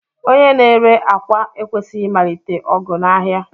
Onye na-ere akwa ekwesịghị ịmalite ọgụ n'ahịa.